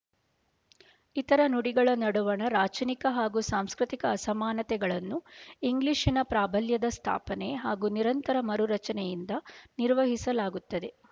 ಇತರ ನುಡಿಗಳ ನಡುವಣ ರಾಚನಿಕ ಹಾಗೂ ಸಾಂಸ್ಕೃತಿಕ ಅಸಮಾನತೆಗಳನ್ನು ಇಂಗ್ಲಿಶಿನ ಪ್ರಾಬಲ್ಯದ ಸ್ಥಾಪನೆ ಹಾಗೂ ನಿರಂತರ ಮರುರಚನೆಯಿಂದ ನಿರ್ವಹಿಸಲಾಗುತ್ತದೆ